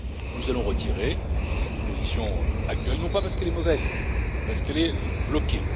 Nous allons retirer la proposition actuelle, non pas parce qu'elle est mauvaise, mais parce qu'elle est bloquée.